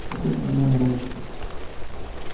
какой твой номер в очереди